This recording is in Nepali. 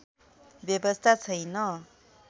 व्यवस्था छैन